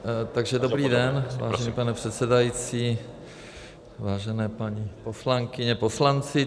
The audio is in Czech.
Takže dobrý den, vážený pane předsedající, vážené paní poslankyně, poslanci.